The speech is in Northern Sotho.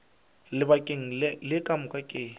lebakeng le ka moka ke